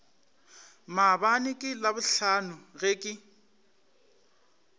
maabane ka labohlano ge ke